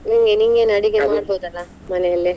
ನಿಂಗೆ ನಿಂಗೆನೆ ಮಾಡ್ಬೋದಲ್ಲಾ ಮನೆಯಲ್ಲೇ?